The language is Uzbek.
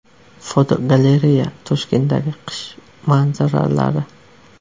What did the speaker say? Fotogalereya: Toshkentdagi qish manzaralari.